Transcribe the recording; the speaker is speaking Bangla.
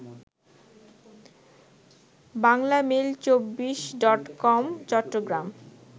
বাংলামেইল২৪ডটকম চট্টগ্রাম